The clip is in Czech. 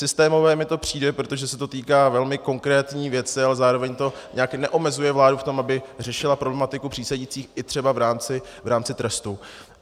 Systémové mi to přijde, protože se to týká velmi konkrétní věci, ale zároveň to nijak neomezuje vládu v tom, aby řešila problematiku přísedících i třeba v rámci trestu.